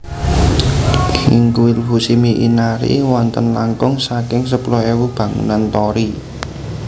IngKuil Fushimi Inari wonten langkung saking sepuluh ewu bangunan torii